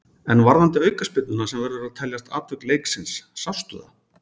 En varðandi aukaspyrnuna sem verður að teljast atvik leiksins, sástu það?